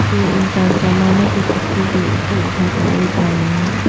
दो इंसान सामानों को चक्के के ऊपर उठाकर ले जा रहे हैं।